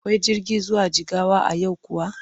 Akwai jirgi zuwa Jigawa a yau kuwa?